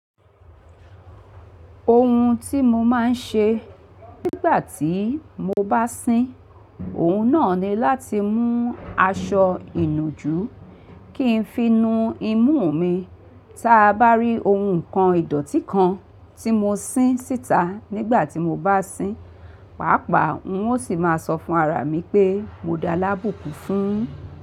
Ohun tí mo máa ń ṣe nígbà tí mo bá sín, òun náà ni láti mú aṣọ ìnùjú kí n fi nu imú mi. Táa bá rí ohun nǹkan ìdọ̀tí kan tí mo sín síta nígbà tí mo bá sín, pàápàá n óò sì máa sọ fún ara mi pé mo d'alábùkún fún.